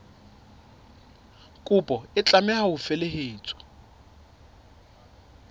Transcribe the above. kopo e tlameha ho felehetswa